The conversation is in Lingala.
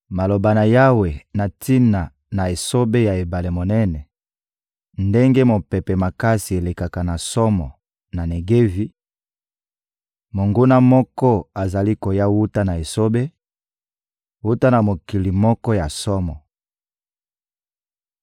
Maloba na Yawe na tina na esobe ya ebale monene: Ndenge mopepe makasi elekaka na somo na Negevi, monguna moko azali koya wuta na esobe, wuta na mokili moko ya somo.